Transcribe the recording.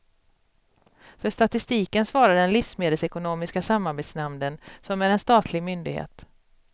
För statistiken svarar den livsmedelsekonomiska samarbetsnämnden, som är en statlig myndighet.